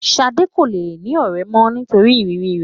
Ṣadé kò le ní ọ̀rẹ́ mó nítorí ìrírí rẹ.